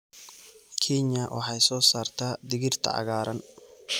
Kenya waxay soo saartaa digirta cagaaran.